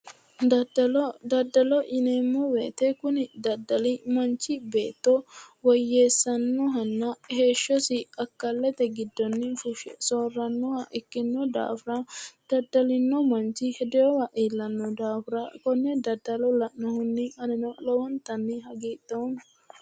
Daddalo daddalo yineemmo woyiite kuni daddali manichi beettira woyyeessannohanna heeshshosi akkallete gidonni fushshe soorrannoha ikkinno daafira daddalinno manchi hedinowa iillanno daafira konne daddalo la"anni anino lowontanni hagiidhoomma.